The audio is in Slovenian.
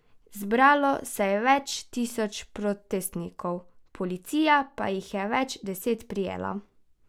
Zbralo se je več tisoč protestnikov, policija pa jih je več deset prijela.